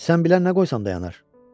Sən bilən nə qoysan dayanır?